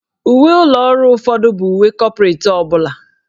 Uwe ụlọ ọrụ ụfọdụ bụ uwe kọpretị ọ bụla.